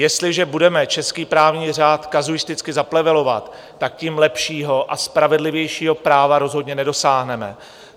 Jestliže budeme český právní řád kazuisticky zaplevelovat, tak tím lepšího a spravedlivějšího práva rozhodně nedosáhneme.